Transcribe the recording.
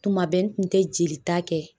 Tuma bɛ n kun tɛ jelita kɛ